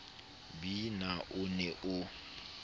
b na o ne o